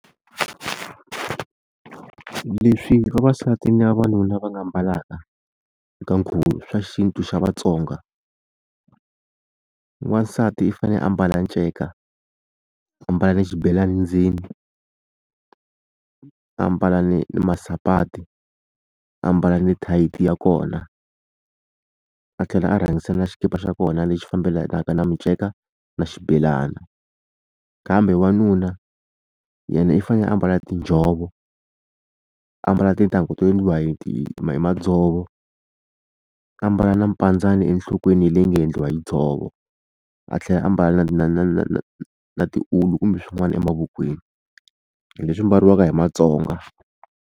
Leswi vavasati na vavanuna va nga mbalanga eka nkhuvo swa xintu xa Vatsonga wansati i fanele a ambala nceka ambala na xibelani ndzeni a mbala ni masapati a mbala ni tight ya kona a tlhela a rhangisa na xikipa xa kona lexi fambelanaka na minceka na xibelana kambe wanuna yena i fanele a mbala tinjhovo a mbala titangu to endliwa hi madzovo a mbala na mpandzani enhlokweni leyi nga endliwa hi dzovo a tlhela a mbala na na na na na na tiulu kumbe swin'wana emavokweni hi leswi mbaliwaka hi Matsonga.